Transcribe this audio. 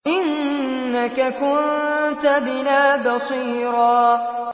إِنَّكَ كُنتَ بِنَا بَصِيرًا